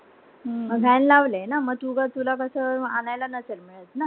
म van लावले आहे ना म तुझ तुला कास आणायला नसेल मिळत ना